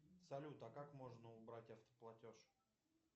салют а как можно убрать автоплатеж